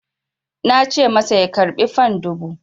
Na ce masa ya karɓi fan dubu!